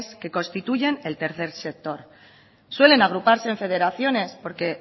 que constituyen el tercer sector suelen agruparse en federaciones porque